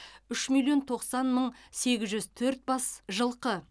үш миллион тоқсан мың сегіз жүз төрт бас жылқы